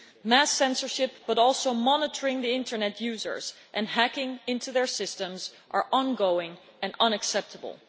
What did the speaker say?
Mass censorship, and also the monitoring of internet users and hacking into their systems, are ongoing and are unacceptable.